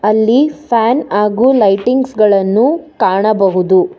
ಇಲ್ಲಿ ಫ್ಯಾನ್ ಹಾಗು ಲೈಟಿಂಗ್ಸ್ ಗಳನ್ನು ಕಾಣಬಹುದು.